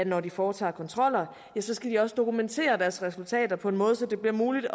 når de foretager kontroller skal de også dokumentere deres resultater på en måde så det bliver muligt